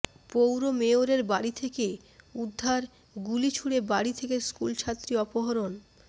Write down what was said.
পৌর মেয়রের বাড়ি থেকে উদ্ধার গুলি ছুড়ে বাড়ি থেকে স্কুলছাত্রী অপহরণ